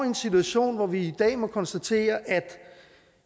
en situation hvor vi i dag må konstatere at